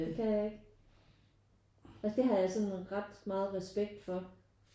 Det kan jeg ikke. Altså det har jeg sådan ret meget respekt for